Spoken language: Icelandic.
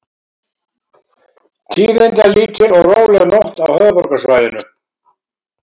Tíðindalítil og róleg nótt á höfuðborgarsvæðinu